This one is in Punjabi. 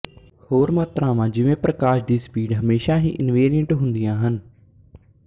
ਹੋਰ ਮਾਤ੍ਰਾਵਾਂ ਜਿਵੇਂ ਪ੍ਰਕਾਸ਼ ਦੀ ਸਪੀਡ ਹਮੇਸ਼ਾ ਹੀ ਇਨਵੇਰੀਅੰਟ ਹੁੰਦੀਆਂ ਹਨ